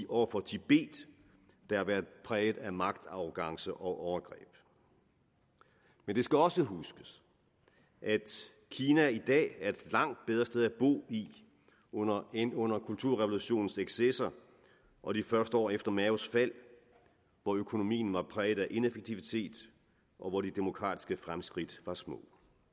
over for tibet der har været præget af magtarrogance og overgreb men det skal også huskes at kina i dag er et langt bedre sted at bo end under end under kulturrevolutionens excesser og de første år efter maos fald hvor økonomien var præget af ineffektivitet og hvor de demokratiske fremskridt var små